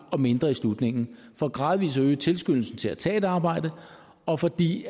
og mindre i slutningen for gradvis at øge tilskyndelsen til at tage et arbejde og fordi